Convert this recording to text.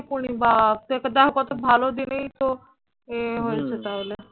পূর্ণিমা আজকে দেখো কত ভালো দিনেই তো ইয়ে হয়েছে তাহলে